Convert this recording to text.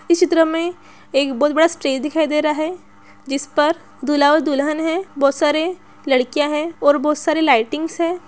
इस चित्र में एक बहुत बड़ा स्टेज दिखाई दे रहा है जिस पर दूल्हा और दुल्हन हैं बहुत सारे लड़कियाँ हैं और बहुत सारे लाइटिंग है।